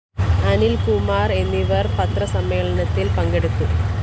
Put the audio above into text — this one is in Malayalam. അനില്‍കുമാര്‍ എന്നിവര്‍ പത്രസമ്മേളനത്തില്‍ പങ്കെടുത്തു